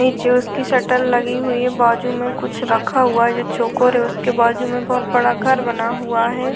नीचे उसकी शटर लगी हुई है बाजु में कुछ रखा हुआ है जो चोकोर है उसके बाजू में बहौत बड़ा घर बना हुआ है।